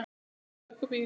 Sýnum hvað í okkur býr.